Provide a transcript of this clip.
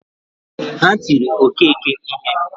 Ha tiri Okeke ihe